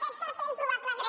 aquest cartell probablement